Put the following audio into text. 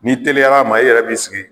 Ni teliyara a ma i yɛrɛ b'i sigi